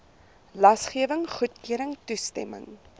lasgewing goedkeuring toestemming